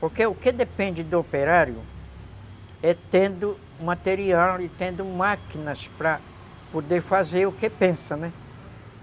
Porque o que depende do operário é tendo material e tendo máquinas para poder fazer o que pensa, né?